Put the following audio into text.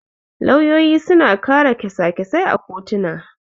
Lauyoyi suna kare kyasa-kysasai a kotuna.